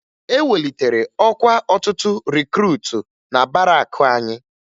E welitere ọkwa ọtụtụ rikruutu na barakụ anyị